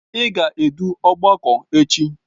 Ị ga-edu ọgbakọ echi!